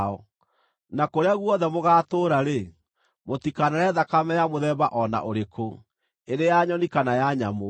Na kũrĩa guothe mũgaatũũra-rĩ, mũtikanarĩe thakame ya mũthemba o na ũrĩkũ, ĩrĩ ya nyoni kana ya nyamũ.